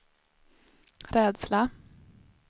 rädsla